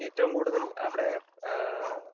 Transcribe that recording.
speaker 2 ഏറ്റവും കൂടുതൽ അവിടെ അഹ്